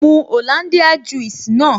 Mu Hollandia juice naa